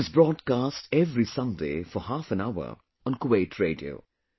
It is broadcast every Sunday for half an hour on Kuwait Radio